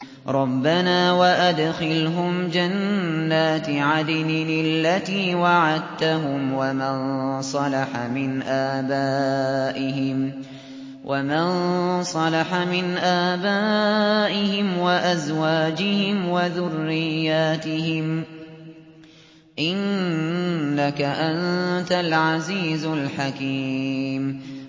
رَبَّنَا وَأَدْخِلْهُمْ جَنَّاتِ عَدْنٍ الَّتِي وَعَدتَّهُمْ وَمَن صَلَحَ مِنْ آبَائِهِمْ وَأَزْوَاجِهِمْ وَذُرِّيَّاتِهِمْ ۚ إِنَّكَ أَنتَ الْعَزِيزُ الْحَكِيمُ